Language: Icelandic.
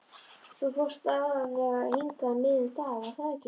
Þú fórst aðallega hingað um miðjan dag, var það ekki?